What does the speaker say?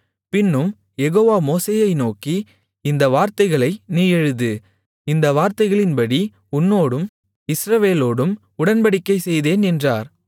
பின்னும் யெகோவா மோசேயை நோக்கி இந்த வார்த்தைகளை நீ எழுது இந்த வார்த்தைகளின்படி உன்னோடும் இஸ்ரவேலோடும் உடன்படிக்கை செய்தேன் என்றார்